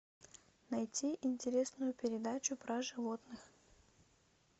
найти интересную передачу про животных